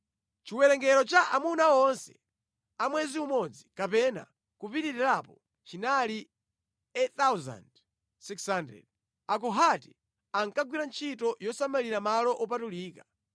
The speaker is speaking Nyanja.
Chiwerengero cha amuna onse a mwezi umodzi kapena kupitirirapo chinali 8,600. Akohati ankagwira ntchito yosamalira malo wopatulika.